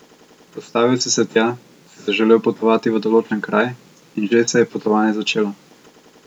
Postavil si se tja, si zaželel potovati v določen kraj, in že se je potovanje začelo.